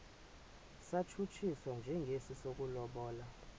satshutshiswa njengesi sokulobola